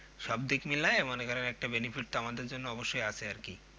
সব দিক মিলিয়ে মনে করেন একটা benefit তো আমাদের জন্য আছে আর কি